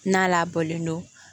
N'a labɔlen don